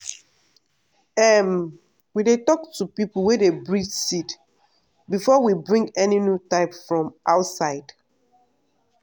um we dey talk to people wey dey breed seed before we bring any new type from outside.